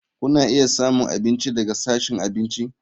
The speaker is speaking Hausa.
Kuna iya samun abinci daga sashin abinci.